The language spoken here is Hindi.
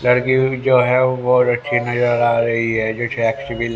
लड़की की जो है वो बहुत अच्छी नजर आ रही है जैसे --